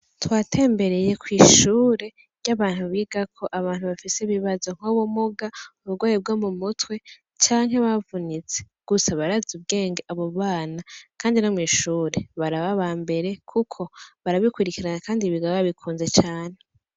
Twatembereye kw'ishure ry'abantu bigako abantu bafise ibibazo nk'ubumuga, ubugwayi bwo mu mutwe canke bavunitse. Gusa barazi ubwenge abo bana kandi no mw'ishure baraba aba mbere kuko barabikurikirana kandi biga babikunze cane.